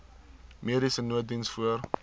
mediese nooddiens voor